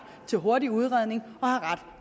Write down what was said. til hurtig udredning og ret